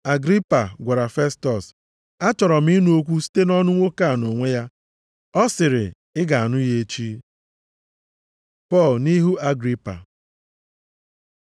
Agripa gwara Festọs, “Achọrọ m ịnụ okwu site nʼọnụ nwoke a nʼonwe ya.” Ọ sịrị, “Ị ga-anụ ya echi.” Pọl nʼihu Agripa